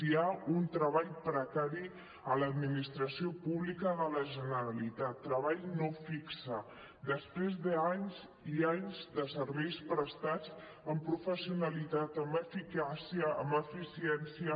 hi ha un treball precari a l’administració pública de la generalitat treball no fix després d’anys i anys de serveis prestats amb professionalitat amb eficàcia amb eficiència